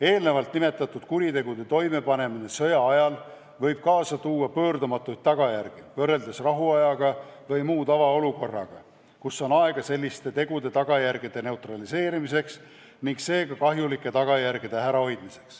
Eelnevalt nimetatud kuritegude toimepanemine sõjaajal võib kaasa tuua pöördumatuid tagajärgi võrreldes rahuajaga või muu tavaolukorraga, kui on aega selliste tegude tagajärgi neutraliseerida ning kahjulikke tagajärgi ära hoida.